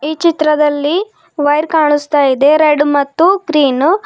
ಈ ಚಿತ್ರದಲ್ಲಿ ವೈರ್ ಕಾಣುಸ್ತಾ ಇದೆ ರೆಡ್ ಮತ್ತು ಗ್ರೀನು.